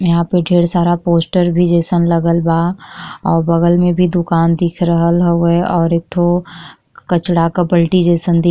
यहाँ पे ढ़ेर सारा पोस्टर भी जइसन लगल बा और बगल में भी दुकान दिख रहल हउवे और एकठो कचड़ा क बल्टी जइसन दिख --